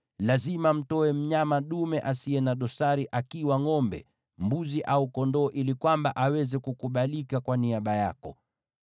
lazima mtoe mnyama dume asiye na dosari, akiwa ngʼombe, mbuzi au kondoo, ili aweze kukubalika kwa niaba yako.